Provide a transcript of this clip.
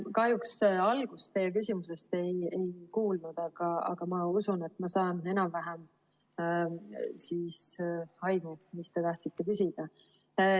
Kahjuks ma teie küsimuse algust ei kuulnud, aga ma usun, et ma sain enam-vähem aimu, mis te tahtsite küsida.